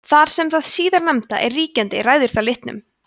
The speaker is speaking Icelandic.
þar sem hið síðarnefnda er ríkjandi ræður það litnum